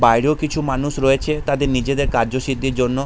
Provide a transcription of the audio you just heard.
বাইরেও কিছু মানুষ রয়েছে তাদের নিজেদের কার্যসিদ্ধির জন্য।